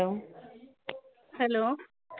hello